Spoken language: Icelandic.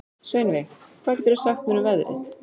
Sveinveig, hvað geturðu sagt mér um veðrið?